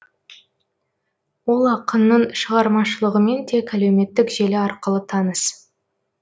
ол ақынның шығармашылығымен тек әлеуметтік желі арқылы таныс